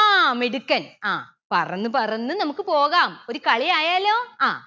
ആ മിടുക്കൻ അ പറന്നു പറന്ന് നമുക്ക് പോകാം ഒരു കളിയായാലോ അഹ്